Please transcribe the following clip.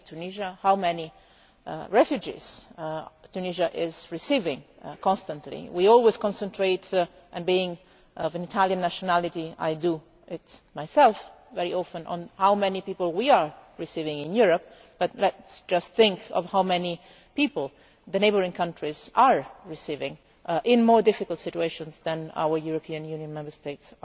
Think of Tunisia, of how many refugees Tunisia is receiving constantly. We always concentrate and being of Italian nationality, I do it myself very often on how many people we are receiving in Europe, but let us just think about how many people the neighbouring countries are receiving in more difficult situations than those of our European Union Member States.